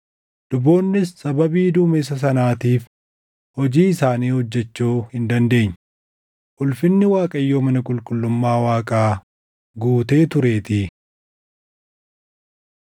luboonnis sababii duumessa sanaatiif hojii isaanii hojjechuu hin dandeenye; ulfinni Waaqayyoo mana qulqullummaa Waaqaa guutee tureetii.